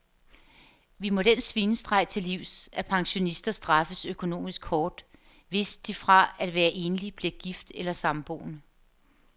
Vi må den svinestreg til livs, at pensionister straffes økonomisk hårdt, hvis de fra at være enlig bliver gift eller samboende.